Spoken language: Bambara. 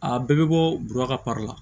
A bɛɛ bɛ bɔ bɔrɔ ka la